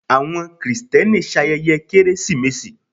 awọn kristeni ṣayẹye keresimesi